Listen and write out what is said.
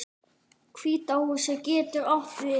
Hvíta húsið getur átt við